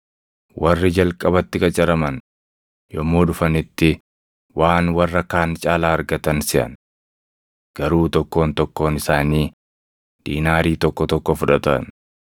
Warri jalqabatti qacaraman yommuu dhufanitti waan warra kaan caalaa argatan seʼan. Garuu tokkoon tokkoon isaanii diinaarii tokko tokko fudhatan.